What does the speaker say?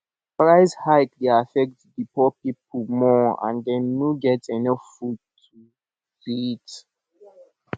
price hike dey affect di poor people more and dem no dey get enough food to eat